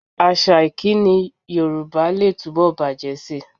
Àṣà ìkíni Yorùbá lè túbọ̀ bàjẹ́ síi